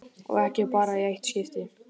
Og ekki bara í eitt skipti.